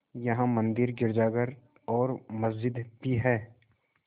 यहाँ मंदिर गिरजाघर और मस्जिद भी हैं